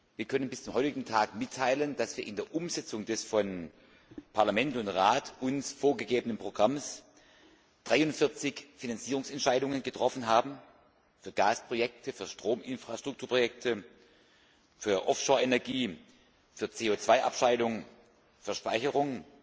Wir können mitteilen, dass wir in der Umsetzung des uns von Parlament und Rat vorgegebenen Programms bis zum heutigen Tag 43 Finanzierungsentscheidungen getroffen haben für Gasprojekte, für Strominfrastrukturprojekte, für Energie, für CO Abscheidung, für Speicherung